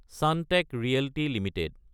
Sunteck Realty Ltd